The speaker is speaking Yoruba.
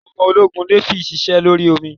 Àwọn ológun navy sise lórí omi